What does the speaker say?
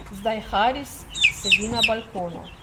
Zdaj Haris sedi na balkonu.